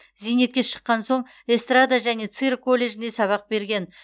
зейнетке шыққан соң эстрада және цирк колледжінде сабақ берген